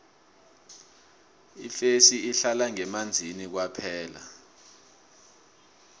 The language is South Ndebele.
ifesi ihlala ngemanzini kwaphela